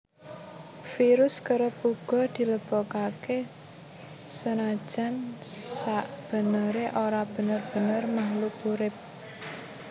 Virus kerep uga dilebokaké senajan sakbeneré ora bener bener makhluk urip